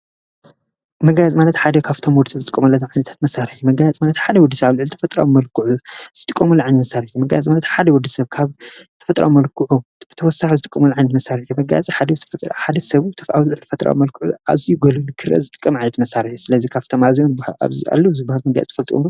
መጋየፂ ማለት ሓደ ካብቶም ወዲሰብ ዝጥቀመሎም ዓይነታት መሳርሒ መጋየፂ ሓደ ወድሰብ ኣብልዕሊ ተፈጥራዊ መልክዑ ዝጥቀመሉ ዓይነት መሳርሒ እዩ። መጋየፂ ማለት ሓደ ወድሰብ ካብ ተፈጥራዊ መልክዑ ተወሳኪ ዝጥቀመሎም ዓይነት መሳርሒ መጋየፂ ሓደ ሰብ ኣብ ልዕሊ ተፈጥራዊ መልክዑ ኣዝዩ ኣጉሊሁ ንክረ ዝጥቀም ዓይነት መሳርሒ እዩ። ስለዚ ካብቶም ኣዚዬም ኣለው ዝብሃሉ ትፈልጡ ዶ?